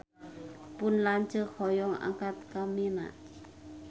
Pun lanceuk hoyong angkat ka Mina